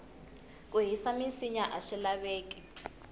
ku hisa minsinya aswi laveki